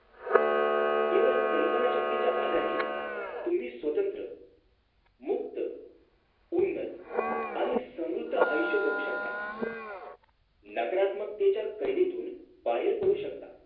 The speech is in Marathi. केवळ कल्पना शक्तीच्या आधारी तुम्ही स्वतंत्र मुक्त खुन्नस आणि समृद्ध आयुष्य जगू शकतात नाकारात्मकेच्या कैदेतून बाहेर पडू शकता